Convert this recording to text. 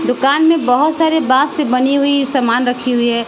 दुकान में बहोत सारे बांस से बनी हुई समान रखी हुई है।